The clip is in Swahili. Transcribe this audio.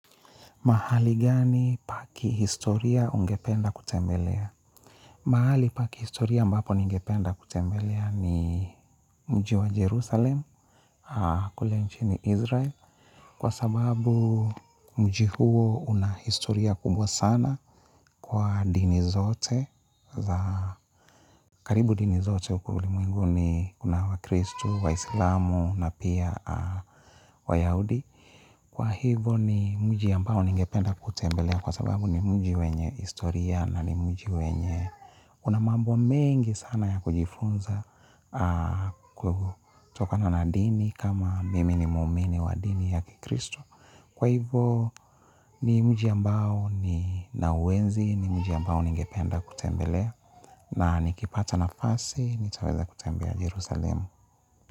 Mahali gani pa kihistoria ungependa kutembelea? Mahali pa kihistoria ambapo ningependa kutembelea ni mji wa Jerusalem kule nchini Israel. Kwa sababu mji huo una historia kubwa sana kwa dini zote. Karibu dini zote huku ulimwenguni kuna wakristo, waislamu na pia wayahudi. Kwa hivyo ni mji ambao ningependa kutembelea kwa sababu ni mji wenye historia na ni mji wenye una mambo mengi sana ya kujifunza kutokana na dini kama mimi ni muumini wa dini ya kikristo. Kwa hivyo ni mji ambao ninauenzi ni mji ambao ningependa kutembelea na nikipata nafasi nitaweza kutembea Jerusalem.